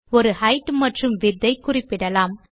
ஒரு ஹெய்ட் மற்றும் விட்த் ஐ குறிப்பிடலாம்